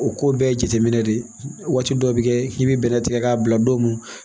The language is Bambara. O ko bɛɛ ye jateminɛ de ye waati dɔ bɛ kɛ i bɛ bɛnɛ tigɛ k'a bila don mun na